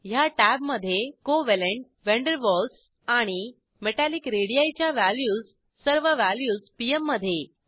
ह्या टॅबमधे covalent van der Waals आणि मेटॅलिक रेडी च्या व्हॅल्यूज सर्व व्हॅल्यूज पीएम मधे